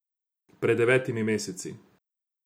Pred devetimi meseci.